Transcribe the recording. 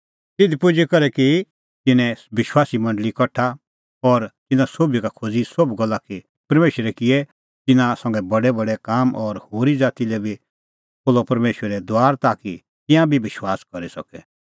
तिधी पुजी करै की तिन्नैं विश्वासीए मंडल़ी कठा और तिन्नां सोभी का खोज़ी सोभ गल्ला कि परमेशरै किऐ तिन्नां संघै बडैबडै काम और होरी ज़ाती लै बी खोल्हअ परमेशरै दुआर ताकि तिंयां बी विश्वास करी सके